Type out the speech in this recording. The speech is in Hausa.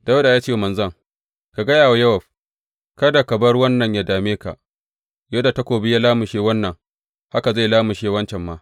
Dawuda ya ce wa manzon, Ka gaya wa Yowab, Kada ka bar wannan yă dame ka; yadda takobi ya lamushe wannan, haka zai lamushe wancan ma.